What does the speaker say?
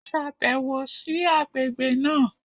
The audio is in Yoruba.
Ṣàbẹ̀wò sí àgbègbè náà!